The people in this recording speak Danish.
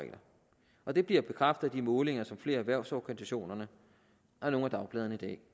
og regler det bliver bekræftet at de målinger som flere af erhvervsorganisationerne og nogle af dagbladene